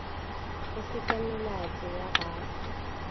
go seka melato ya segae